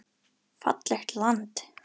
Fallegt land.